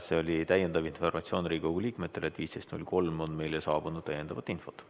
See oli täiendav informatsioon Riigikogu liikmetele, et 15.03 on meile saabunud täiendavat infot.